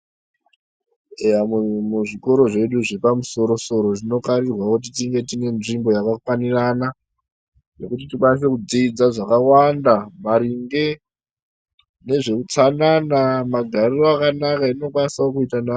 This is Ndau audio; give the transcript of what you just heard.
Eya muzvikoro zvedu zvepamusoro soro tinokarirwa kuti tive nenzvimbo yakafanirana yekuti tikwanise kudzidza zvakawanda maringe nezveutsanana magariro akanaka atinokwanisawo kuita navamwe....